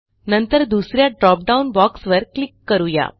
नंतर दुस या ड्रॉपडाउन बॉक्स वर क्लिक करू या